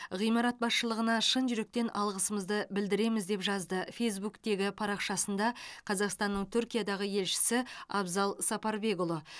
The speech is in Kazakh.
ғимарат басшылығына шын жүректен алғысымызды білдіреміз деп жазды фейзбуктегі парақшасында қазақстанның түркиядағы елшісі абзал сапарбекұлы